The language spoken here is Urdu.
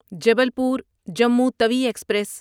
جبلپور جمو توی ایکسپریس